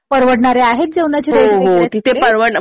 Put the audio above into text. परवडणारे आहेत जेवणाचे रेट वगैरे तिकडे